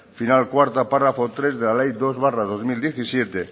final cuarta párrafo tres de la ley dos barra dos mil diecisiete